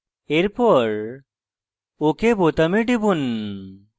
এরপর ok বোতামে টিপুন